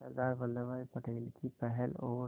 सरदार वल्लभ भाई पटेल की पहल और